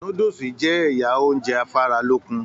Núdúsí jẹ́ ẹyà ounjẹ afaralókun.